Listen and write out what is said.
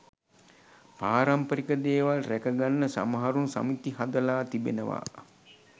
පාරම්පරික දේවල් රැකගන්න සමහරුන් සමිති හදලා තිබෙනවා.